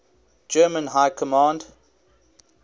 german high command